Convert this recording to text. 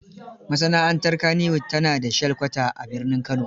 Masana'antar Kannywood ta na da shelkwata a birnin Kano.